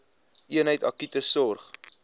eenheid akute sorg